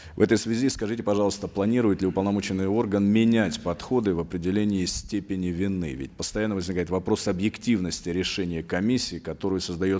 в этой связи скажите пожалуйста планирует ли уполномоченный орган менять подходы в определении степени вины ведь постоянно возникает вопрос объективности решения комиссии которую создает